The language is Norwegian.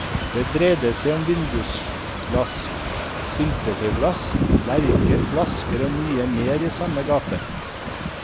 Det dreide seg om vindusglass, syltetøysglass, lerker, flasker og mye mer i samme gate.